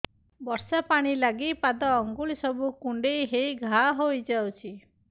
ବର୍ଷା ପାଣି ଲାଗି ପାଦ ଅଙ୍ଗୁଳି ସବୁ କୁଣ୍ଡେଇ ହେଇ ଘା ହୋଇଯାଉଛି